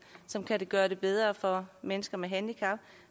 som kan gøre det bedre for mennesker med handicap